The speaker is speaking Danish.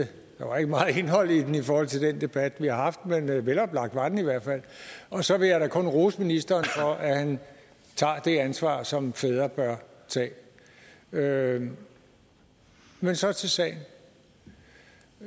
der var ikke meget indhold i den i forhold til den debat vi har haft men veloplagt var den i hvert fald og så vil jeg da kun rose ministeren for at han tager det ansvar som fædre bør tage men så til sagen